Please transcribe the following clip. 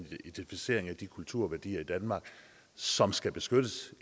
identificering af de kulturværdier i danmark som skal beskyttes